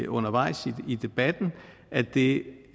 undervejs i debatten at det